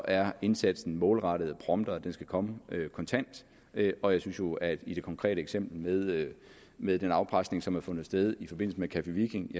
er indsaten målrettet og prompte og den skal komme kontant og jeg synes jo at i det konkrete eksempel med med den afpresning som har fundet sted i forbindelse med café viking